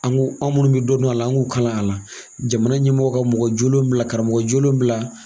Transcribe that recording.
An ko anw minnu bi dɔ dɔn a la an k'u kalan a la jamana ɲɛmɔgɔ ka mɔgɔjolen bila karamɔgɔjolen bila